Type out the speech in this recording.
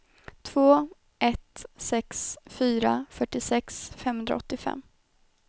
två ett sex fyra fyrtiosex femhundraåttiofem